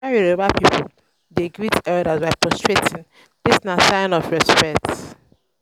yoruba pipo dey greet elders by prostrating this na sign of respect